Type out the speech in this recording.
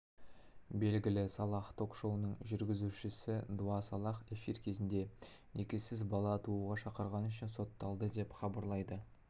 белгілі салах ток-шоуының жүргізушісі дуа салах эфир кезінде некесіз бала тууға шақырғаны үшін сотталды деп хабарлайды